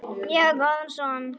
Ég á góðan son.